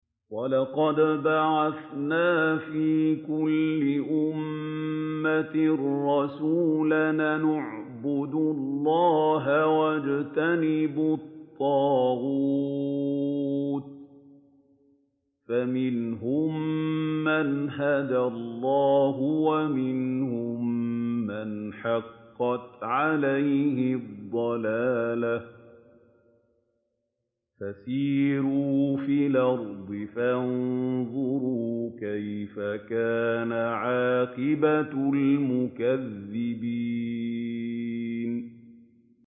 وَلَقَدْ بَعَثْنَا فِي كُلِّ أُمَّةٍ رَّسُولًا أَنِ اعْبُدُوا اللَّهَ وَاجْتَنِبُوا الطَّاغُوتَ ۖ فَمِنْهُم مَّنْ هَدَى اللَّهُ وَمِنْهُم مَّنْ حَقَّتْ عَلَيْهِ الضَّلَالَةُ ۚ فَسِيرُوا فِي الْأَرْضِ فَانظُرُوا كَيْفَ كَانَ عَاقِبَةُ الْمُكَذِّبِينَ